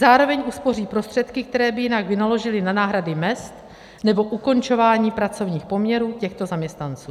Zároveň uspoří prostředky, které by jinak vynaložili na náhradu mezd nebo ukončování pracovních poměrů těchto zaměstnanců.